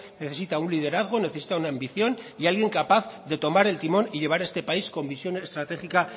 necesita un liderazgo necesita una ambición y alguien capaz de tomar el timón y llevar este país con visión estratégica